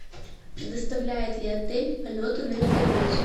предоставляет ли отель полеты на вертолете